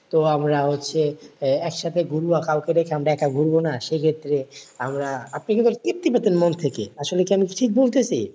তো আমরা হচ্ছে আহ একসাথে ঘুরবো কাউকে রেখে আমরা একা ঘুরবো না সেক্ষেত্রে আমরা আপনি কিন্তু তৃপ্তি পেতেন মন থেকে আসলে কি আমি ঠিক বলতেছি?